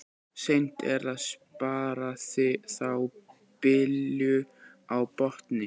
Seint er að spara þá bylur á botni.